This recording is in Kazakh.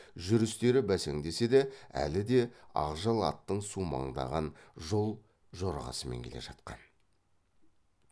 жүрістері бәсеңдесе де әлі де ақжал аттың сумаңдаған жол жорғасымен келе жатқан